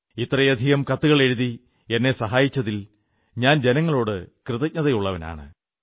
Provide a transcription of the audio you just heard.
ഇത്രയധികം കത്തുകളെഴുതി എന്നെ സഹായിച്ചതിൽ ഞാൻ ജനങ്ങളോട് കൃതജ്ഞതയുള്ളവനാണ്